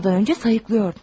Uyanmadan öncə sayıqlayırdın.